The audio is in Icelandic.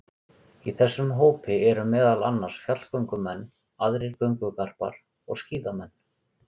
Í þessum hópi eru meðal annars fjallgöngumenn, aðrir göngugarpar og skíðamenn.